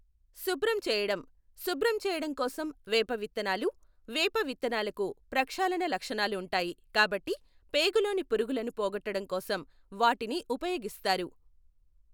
శుబ్రం చేయడం, శుబ్రం చేయడం కోసం వేప విత్తనాలు. వేప విత్తనాలకు ప్రక్షాళణ లక్షణాలు ఉంటాయి కాబట్టి పేగులోని పురుగులను పోగొట్టడం కోసం వాటిని ఉపయోగిస్తారు.